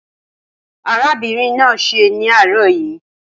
Arábìnrin náà ń ṣẹ́ ní àárọ̀ yìí